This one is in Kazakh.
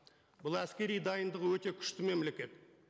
бұл әскери дайындығы өте күшті мемлекет